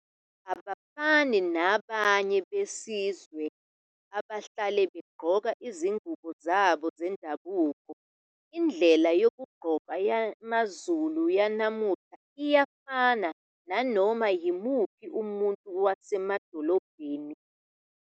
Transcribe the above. Abafani nabanye besizwe abahlale begqoke izingubo zabo zendabuko, indlela yokugqoka yamaZulu yanamuhla iyafana nanoma yimuphi umuntu wasemadolobheni.